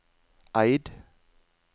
Eid